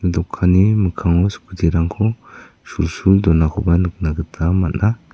dokanni mikkango scooty-rangko sulsul donakoba nikna gita man·a.